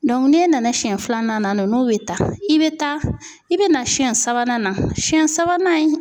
n'e nana siɲɛ filanan na ninnu bɛ ta i bɛ taa i bɛ na siyɛn sabanan na siyɛn sabanan